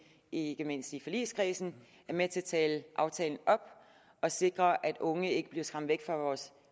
ikke mindst i forligskredsen er med til at tale aftalen op og sikre at unge ikke bliver skræmt væk fra vores